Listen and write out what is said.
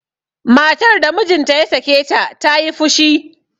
matar da mijinta ya sake ta ta yi fushi